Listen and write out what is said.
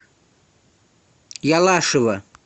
ялашева